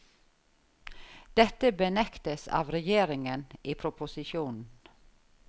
Dette benektes av regjeringen i proposisjonen.